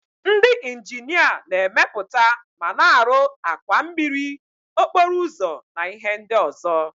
Ndị injinia na-emepụta ma na-arụ àkwà mmiri, okporo ụzọ na ihe ndị ọzọ.